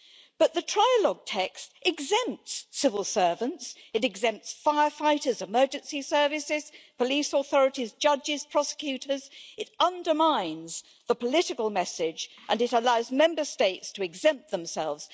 But the trilogue text exempts civil servants, it exempts firefighters, emergency services, police authorities, judges and prosecutors, it undermines the political message, and it allows Member States to exempt themselves.